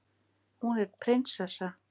Hún er prinsessa.